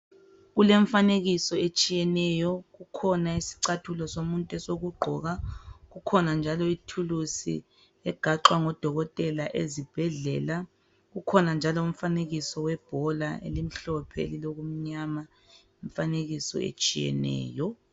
Kulemfanekiso etshiyeneyo kukhona isicathulo somuntu sokugqoka, kukhona njalo ithuluzi egaxwa ngodokotela ezibhedlela. Kukhona njalo umfanekiso webhola elimhlophe elilokumnyama imfanekiso etshiyeneyo.